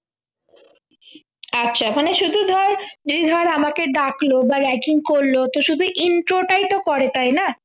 আচ্ছা মানে শুধু ধর এই ধর আমাকে ডাকল বা ragging করল তো শুধু intro টাই তো করে তাই না